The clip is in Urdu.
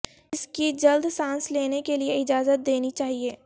اس کی جلد سانس لینے کے لئے اجازت دینی چاہیے